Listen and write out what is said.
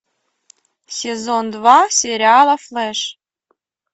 сезон два сериала флэш